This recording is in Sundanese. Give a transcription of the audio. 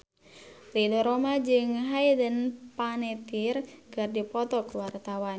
Ridho Roma jeung Hayden Panettiere keur dipoto ku wartawan